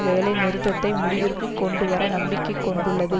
வேலை நிறுத்தத்தை முடிவிற்கு கொண்டு வர நம்பிக்கை கொண்டுள்ளது